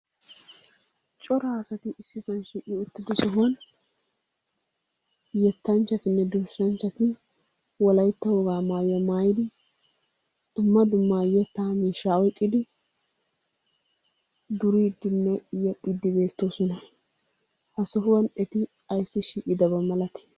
Cora asati issisaa shiiqi uttido sohuwan yettanchchatinne durssanchchati wolaytta wogaa maayuwa maayidi dumma dumma yettaa miishshaa oyqqidi duriiddinne yexxiiddi beettoosona. Ha sohuwan eti ayssi shiiqidaba milatii?